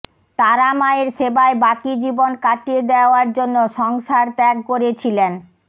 তারা মায়ের সেবায় বাকি জীবন কাটিয়ে দেওয়ার জন্য সংসার ত্যাগ করেছিলেন